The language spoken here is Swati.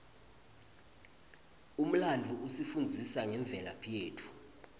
umlandvo usifundzisa ngemvelaphi yetfu